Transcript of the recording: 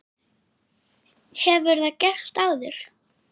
Hefur það gerst áður?